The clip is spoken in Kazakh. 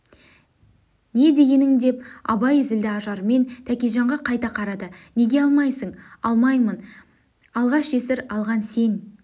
не дегенің деп абай зілді ажармен тәкежанға қайта қарады неге алмайсың алмаймын алғаш жесір алған сен